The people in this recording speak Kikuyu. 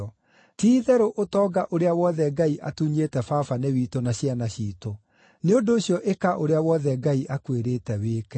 Ti-itherũ ũtonga ũrĩa wothe Ngai atunyĩte baba nĩ witũ na ciana ciitũ. Nĩ ũndũ ũcio ĩka ũrĩa wothe Ngai akwĩrĩte wĩke.”